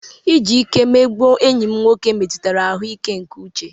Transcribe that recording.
Iji ike mmegbu enyi m nwoke metụtara ahụ́ ike nke uche.